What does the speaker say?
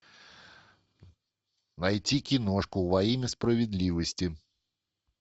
найти киношку во имя справедливости